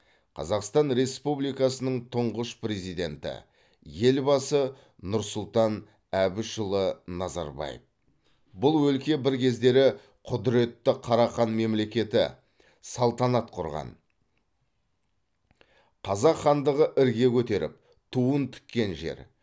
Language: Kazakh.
қазақстан республикасының тұңғыш президенті елбасы нұр сұлтан әбішұлы назарбаев бұл өлке бір кездері құдыретті қарахан мемлекеті салтанат құрған қазақ хандығы ірге көтеріп туын тіккен жер